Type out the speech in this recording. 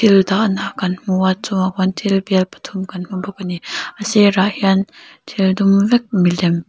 dahna kan hmu a a chungah khuan thil bial pathum kan hmu bawk a ni a sirah hian thil dum vek milem--